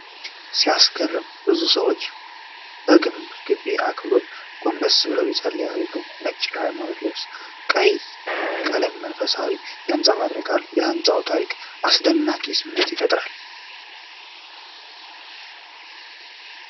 ሲያስገርም! ብዙ ሰዎች በግንብ ግቢ ውስጥ በአክብሮት ጎንበስ ብለው ይፀልያሉ። ነጭ የሃይማኖት ልብሶችና ቀይ ቀለም መንፈሳዊነትን ያንፀባርቃል። የህንፃው ታሪካዊነት አስደናቂ ስሜት ይፈጥራል።